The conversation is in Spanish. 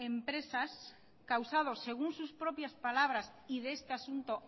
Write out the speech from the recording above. empresas causados según sus propias palabras y de este asunto